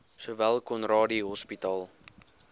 sowel conradie hospitaal